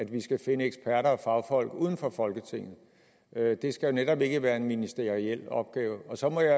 vi skal finde eksperter og fagfolk uden for folketinget det skal netop ikke være en ministeriel opgave så må jeg